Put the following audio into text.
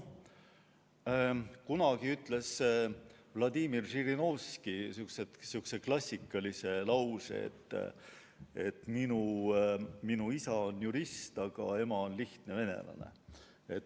Kunagi ütles Vladimir Žirinovski sihukese klassikalise lause, et minu isa on jurist, aga ema on lihtne venelane.